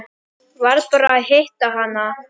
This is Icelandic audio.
Varð bara að hitta hana.